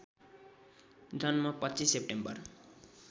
जन्म २५ सेप्टेम्बर